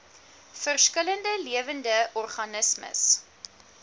verskillende lewende organismes